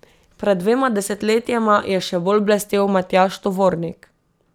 Pred dvema desetletjema je še bolj blestel Matjaž Tovornik.